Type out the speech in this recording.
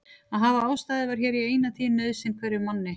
Að hafa ástæðu var hér í eina tíð nauðsyn hverjum manni.